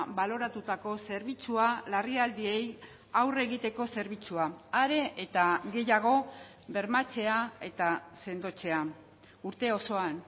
baloratutako zerbitzua larrialdiei aurre egiteko zerbitzua are eta gehiago bermatzea eta sendotzea urte osoan